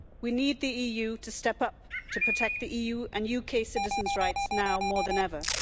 We need the EU to step up to protect the EU and UK citizens' rights now more than ever.